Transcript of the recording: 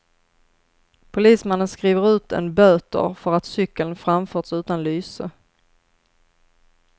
Polismannen skriver ut en böter för att cykeln framförts utan lyse.